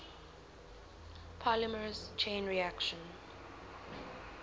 polymerase chain reaction